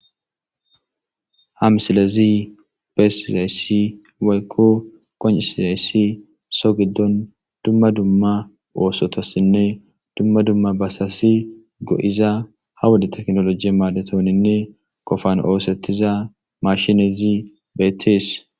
ha misilezi bessizayssi waykko qonccizayssi so giddon dumma dumma oosotossinne dumma dumma basasi go7iza ha wode teknoloji maadetoninne qofan oosetiza mashinezi beettees.